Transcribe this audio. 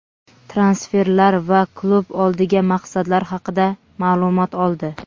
transferlar va klub oldiga maqsadlar haqida ma’lumot oldi.